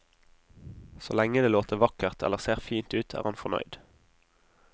Så lenge det låter vakkert eller ser fint ut, er han fornøyd.